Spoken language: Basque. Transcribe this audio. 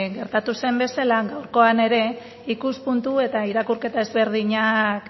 gertatu zen bezala gaurkoan ere ikuspuntu eta irakurketa desberdinak